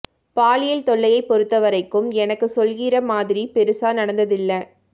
பாலியல் தொல்லையைப் பொறுத்தவரைக்கும் எனக்கு சொல்லிக்கிற மாதிரி பெருசா நடந்ததில்ல